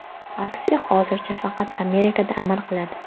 Aksiya hozircha faqat Amerikada amal qiladi.